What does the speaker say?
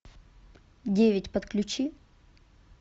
девять подключи